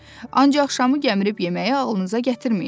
Ancaq şamı gəmirib yeməyi ağlınıza gətirməyin.